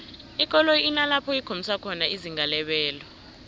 ikoloyi inalapho ikhombisa khona izinga lebelo